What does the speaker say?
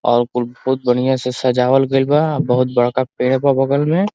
और कुल बहुत बढ़िया से सजावल गइल बा। बहुत बड़का पेड़ बा बगल में।